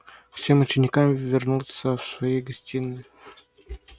всем ученикам вернуться в свои гостиные